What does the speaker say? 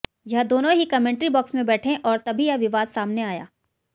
यह दोनों ही कामेंट्री बॉक्स में बैठे और तभी यह विवाद सामने आया